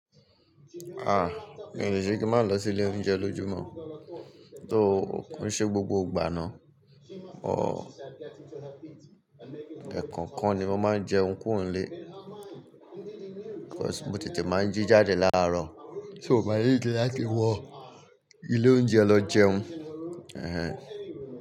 Ah! Mi ò le ṣe kí má lọ sí ilé oúnjẹ lójumo, tó kon ṣe gbogbo ìgbà náà. Òó ẹ̀kokan ni mo máa ń jẹun kúro n'lé, because mo tètè máa ń jí jáde láàárọ̀, so mo máa need láti wọ ilé oúnjẹ lọ jẹun. Ehen.